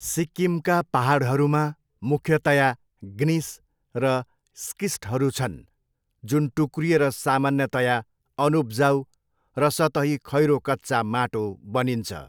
सिक्किमका पाहाडहरूमा मुख्यतया ग्निस र स्किस्टहरू छन् जुन टुक्रिएर सामान्यतया अनुपजाउ र सतही खैरो कच्चा माटो बनिन्छ।